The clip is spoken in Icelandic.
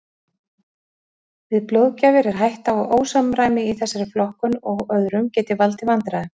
Við blóðgjafir er hætta á að ósamræmi í þessari flokkun og öðrum geti valdið vandræðum.